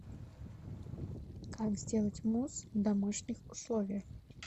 как сделать мусс в домашних условиях